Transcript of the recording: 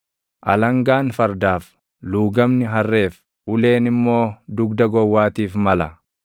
Alangaan fardaaf, luugamni harreef, uleen immoo dugda gowwaatiif mala!